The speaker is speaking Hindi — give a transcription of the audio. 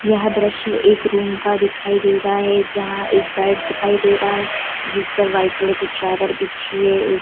यह दृश्य एक रूम का दिखाई दे रहा है जहां एक बेड दिखाई दे रहा है जिस पर वाइट कलर की चादर बिछी--